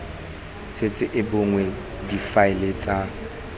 setse e bonwe difaele tsa